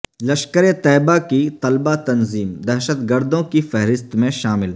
لشکر طیبہ کی طلبہ تنظیم دہشت گردوں کی فہرست میں شامل